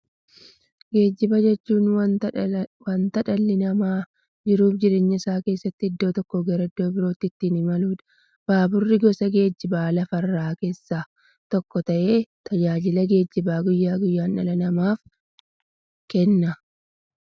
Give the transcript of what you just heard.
Geejjiba jechuun wanta dhalli namaa jiruuf jireenya isaa keessatti iddoo tokkoo gara iddoo birootti ittiin imaluudha. Baaburri gosa geejjibaa lafarraa keessaa tokko ta'ee, tajaajila geejjibaa guyyaa guyyaan dhala namaaf kenna.